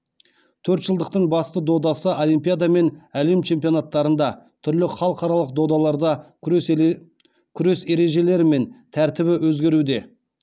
төртжылдықтың басты додасы олимпиада мен әлем чемпионаттарында түрлі халықаралық додаларда күрес ережелері мен тәртібі өзгеруде